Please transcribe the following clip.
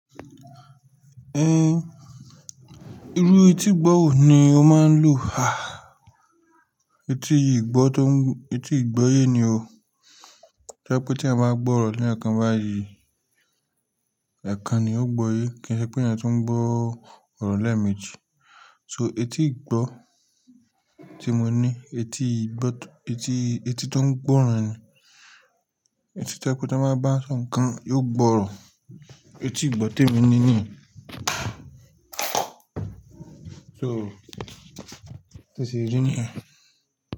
Eh, irú itígbọ́ wo ní ó máa ń lo, ah. Etí ìgbọ́ tó ń, etí ìgbọ́ ye ni o. Tẹ́ pe tí èèyàn báa gbọ́ ọ̀rọ̀ l'ẹ̀ẹ̀kan bá yìí, ẹ̀ẹ̀kan ni ó gbọ́ yé kìí ṣe pé èèyàn tu ń gbọ́ ọ̀rọ̀ lẹ́ẹ̀meji. So etí ìgbọ́ tí mo ní etí ìgbọ́ tó, etí, etí tó ń gbọ́ ran ni. Etí to ẹ pe tan báa bá sọ ǹkan yóò gbọ́ ran. Etí ìgbọ́ témi ni ni. So, to se rí ní yẹn.